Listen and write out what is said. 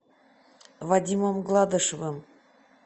вадимом гладышевым